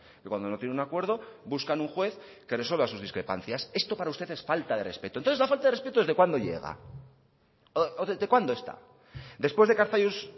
que cuando no tienen un acuerdo buscan un juez que resuelva sus discrepancias esto para usted es falta de respeto entonces la falta de respeto desde cuándo llega o desde cuándo está después de que arzallus